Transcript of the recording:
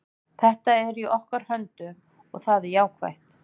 Þetta er í okkar höndum og það er jákvætt.